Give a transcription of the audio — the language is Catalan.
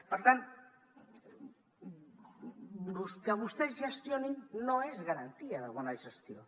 per tant que vostès gestionin no és garantia de bona gestió